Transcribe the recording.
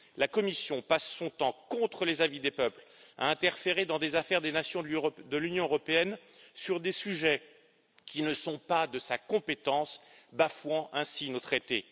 La Commission passe son temps, contre les avis des peuples, à interférer dans des affaires des nations de l'Union européenne sur des sujets qui ne sont pas de sa compétence, bafouant ainsi nos traités.